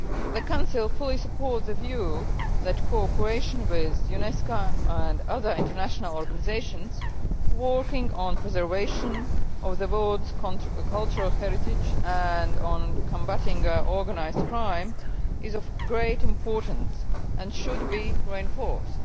The Council fully supports the view that cooperation with UNESCO and other international organisations working on the preservation of the world's cultural heritage and on combating organised crime is of great importance and should be reinforced.